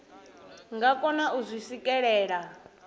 nga kona u zwi swikelela